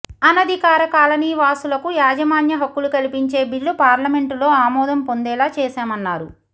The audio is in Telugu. అనధికార కాలనీవాసులకు యాజమాన్య హక్కులు కల్పించే బిల్లు పార్లమెంటులో ఆమోదం పొందేలా చేశామన్నారు